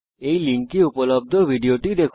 এই লিঙ্কে উপলব্ধ ভিডিও টি দেখুন